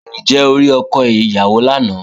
Ǹjẹ́ o rí ọkọ ìyàwó lánàá?